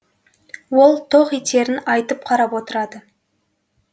ол тоқ етерін айтып қарап отырады